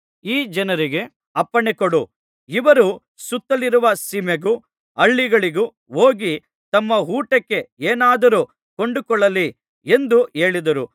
ಈ ಜನರಿಗೆ ಅಪ್ಪಣೆಕೊಡು ಇವರು ಸುತ್ತಲಿರುವ ಸೀಮೆಗೂ ಹಳ್ಳಿಗಳಿಗೂ ಹೋಗಿ ತಮ್ಮ ಊಟಕ್ಕೆ ಏನಾದರೂ ಕೊಂಡುಕೊಳ್ಳಲಿ ಎಂದು ಹೇಳಿದರು